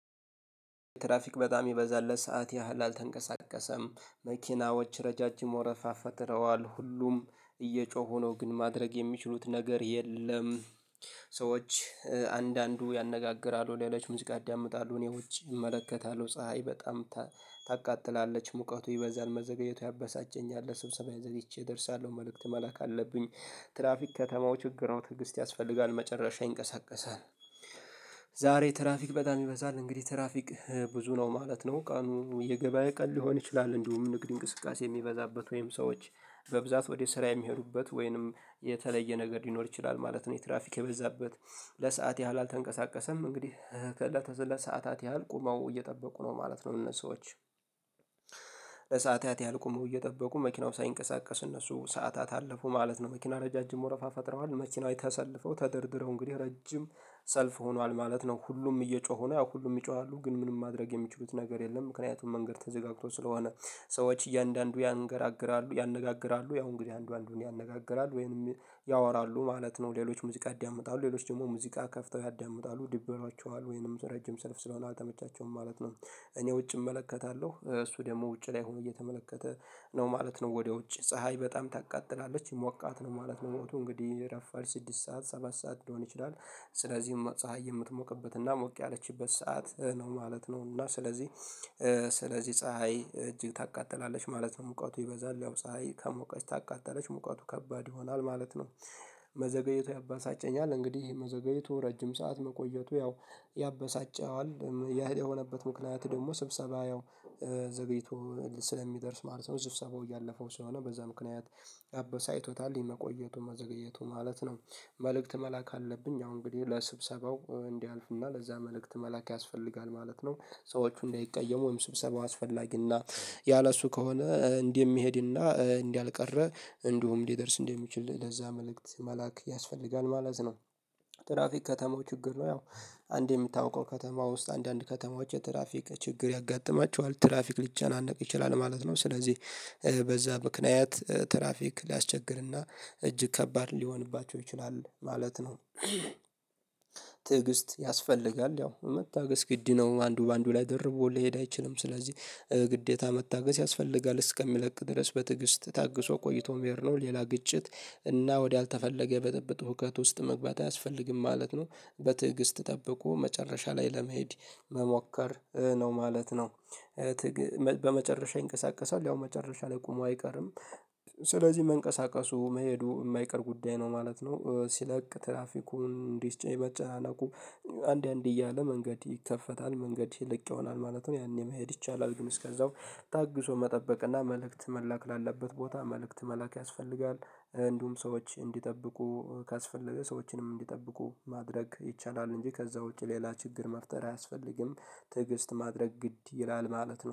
ትራፊክ በጣም የሚበዛለት ሰዓት ያህል አልተንቀሳቀሰም። መኪናዎች ረዣዥም ወረፋ ፈጥረዋል። ሁሉም እየጮሁ ነው ግን ማድረግ የሚችሉት ነገር የለም። ሰዎች አንዳንዱ ያነጋግራሉ፣ ሌሎች ሙዚቃ አዳምጣሉ። እኔ ውጪ እመለከታለሁ። ፀሀይ በጣም ታቃጥላለች። ሙቀቱ ይበዛል። መዘገየቱ ያበሳጀኛል። ለስብሰባዬ ዘግይቼ ደርሳለሁ። መልእክት መላክ አለብኝ። ትራፊክ ከተማው ችግር ነው። ትዕግስት ያስፈልጋል። መጨረሻ ይንቀሳቀሳል። ዛሬ ትራፊክ በጣም ይበዛል፣ እንግዲህ ትራፊክ ብዙ ነው ማለት ነው። ቀኑ የገበያ ቀን ሊሆን ይችላል፣ እንዲሁም ንግድ እንቅስቃሴ የሚበዛበት ወይም ሰዎች በብዛት ወደ ስራ የሚሄዱበት ወይንም የተለየ ነገር ሊኖር ይችላል ማለት ነው። የትራፊክ የበዛበት ለሰአት ያህል አልተንቀሳቀሰም። እንግዲህ ከእለተ ሰዓታት ያህል ቆመው እየጠበቁ ነው ማለት ነው እነሱ ሰዎች። ለሰአታት ያልቆመው እየጠበቁ መኪናው ሳይንቀሳቀስ እነሱ ሰዓታት አለፉ ማለት ነው። መኪና ረዣዥም ወረፋ ፈጥረዋል። መኪናዎች ተሰልፈው፣ ተደርድረው እንግዲህ ረጅም ሰልፍ ሆኗል ማለት ነው። ሁሉም እየጮሁ ነው፣ ያ ሁሉም ይጮሃሉ፣ ግን ምንም ማድረግ የሚችሉት ነገር የለም ምክንያቱም መንገድ ተዘጋግቶ ስለሆነ። ሰዎች እያንዳንዱ ያንገራግራሉ፣ ያነጋግራሉ ያው እንግዲህ አንዱ አንዱን ያነጋግራሉ ወይንም ያወራሉ ማለት ነው። ሌሎች ሙዚቃ ያዳምጣሉ፣ ሌሎች ደግሞ ሙዚቃ ከፍተው ያዳምጣሉ። ደብሯቸዋል ወይንም ረጅም ሰልፍ ስለሆነ አልተመቻቸውም ማለት ነው። እኔ ውጭ እመለከታለሁ፣ እሱ ደግሞ ውጭ ላይ ሆኖ እየተመለከተ ነው ማለት ነው ወዲያ ውጭ። ፀሀይ በጣም ታቃጥላለች፣ ሞቃት ነው ማለት ነው ሞቱ እንግዲህ ረፋል ስድስት ሰዓት ሰባት ሰዓት ሊሆን ይችላል። ስለዚህም ፀሀይ የምትሞቅበትና ሞቅ ያለችበት ሰዓት ነው ማለት ነው። እና ስለዚህ፣ ስለዚህ ፀሀይ እጅ ታቃጥላለች ማለት ነው። ሙቀቱ ይበዛል፣ ያው ፀሀይ ከሙቀች ታቃጥለች ሙቀቱ ከባድ ይሆናል ማለት ነው። መዘገየቱ ያባሳጨኛል። እንግዲህ መዘገየቱ ረጅም ሰዓት መቆየቱ ያው ያበሳጨዋል። ያ የሆነበት ምክንያት ደግሞ ስብሰባ ያው ዘገይቶ ስለሚደርስ ማለት ነው፣ ስብሰባው እያለፈው ስለሆነ በዛ ምክንያት አበሳጭቶታል የመቆየቱ መዘግየቱ ማለት ነው። መልእክት መላክ አለብኝ፣ አሁን እንግዲህ ለስብሰባው እንዲያልፍና ለዛ መልእክት መላክ ያስፈልጋል ማለት ነው። ሰዎቹ እንደይቀየሙ ወይም ስብሰባ አስፈላጊና ያለእሱ ከሆነ እንዲህ የሚሄድና እንዲህ አልቀረ እንዲሁም ሊደርስ እንዲህ የሚችል ለዛ መልእክት መላክ ያስፈልጋል ማለት ነው። ትራፊክ ከተማው ችግር ነው። ያው አንዴ የምታውቀው ከተማ ውስጥ አንዳንድ ከተማዎች የትራፊክ ችግር ያጋጥማቸዋል። ትራፊክ ሊጨናነቅ ይችላል ማለት ነው። ስለዚህ በዛ ምክንያት ትራፊክ ሊያስቸግርና እጅግ ከባድ ሊሆንባቸው ይችላል ማለት ነው። ትዕግስት ያስፈልጋል። ያው መታገስ ግድ ነው አንዱ በአንዱ ላይ ደርቦ ሊሄድ አይችልም። ስለዚህ ግዴታ መታገስ ያስፈልጋል እስከሚለቅ ድረስ በትግስት ታግሶ ቆይቶ መሄድ ነው። ሌላ ግጭት እና ወዲያልተፈለገ ብጥብጥ ሁከት ውስጥ መግባት አያስፈልግም ማለት ነው። በትዕግስት ጠብቆ መጨረሻ ላይ ለመሄድ መሞከር ነው ማለት ነው። በመጨረሻ ይንቀሳቀሰው ያው መጨረሻ ላይ ቆሞ አይቀርም። ስለዚህ መንቀሳቀሱ፣ መሄዱ የማይቀር ጉዳይ ነው ማለት ነው። ሲለቅ ትራፊኩን እንዲ፤ መጨናነቁ አንድ አንድ እያለ መንገድ ይከፈታል። መንገድ ይልቅ ይሆናል ማለት ነው ያኔ መሄድ ይቻላል። ግን እስከዛው ታግሶ መጠበቅ እና መልእክት መላክ ላለበት ቦታ መልእክት መላክ ያስፈልጋል። እንዲሁም ሰዎች እንዲጠብቁ ካስፈለገ ሰዎችንም እንዲጠብቁ ማድረግ ይቻላል፣ እንጂ ከዛ ውጪ ሌላ ችግር መፍጠር አያስፈልግም። ትዕግስት ማድረግ ግድ ይላል ማለት ነው።